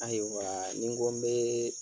Ayiwa ni n ko n bɛ